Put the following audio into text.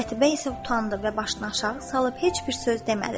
Qətibə isə utandı və başını aşağı salıb heç bir söz demədi.